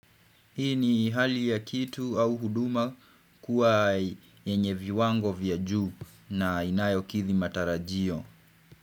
Hii ni hali ya kitu au huduma kuwa yenye viwango vya juu na inayokithi matarajio.